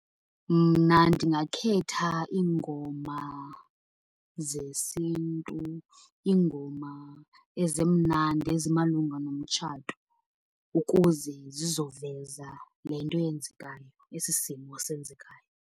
Mna ndingakhetha iingoma zesiNtu, iingoma ezimnandi ezimalunga nomtshato ukuze zizoveza le nto yenzekayo, esi simo senzekayo.